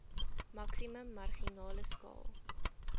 maksimum marginale skaal